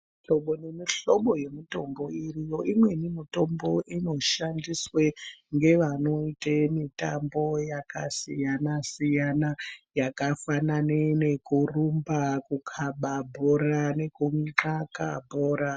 Mihlobo nemihlobo yemitombo iriyo imweni mitombo inoshandiswe ngevanoite mitambo yakasiyana siyana yakafanana nekurumba, kukaba bhora nekuminxaka bhora.